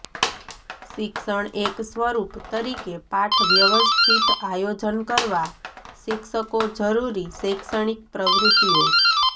શિક્ષણ એક સ્વરૂપ તરીકે પાઠ વ્યવસ્થિત આયોજન કરવા શિક્ષકો જરૂરી શૈક્ષણિક પ્રવૃત્તિઓ